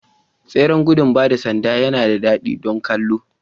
Tseren gudun ba da sanda yana da daɗi don kallo